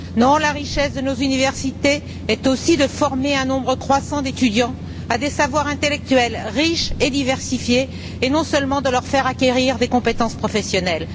Non, la richesse de nos universités est aussi de former un nombre croissant d'étudiants à des savoirs intellectuels riches et diversifiés, et pas seulement de leur faire acquérir des compétences professionnelles.